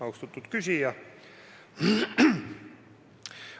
Austatud küsija!